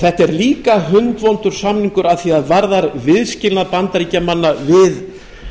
þetta er líka hundvondur samningur að því er varðar viðskilnað bandaríkjamanna við